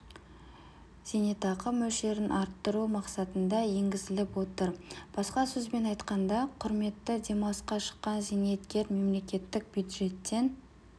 зейнетақы мөлшерін арттыру мақсатында енгізіліп отыр басқа сөзбен айтқанда құрметті демалысқа шыққан зейнеткер мемлекеттік бюджеттен